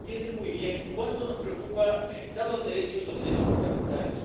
Por eso, entiende muy bien cuánto nos preocupa el Estado de Derecho y los derechos fundamentales.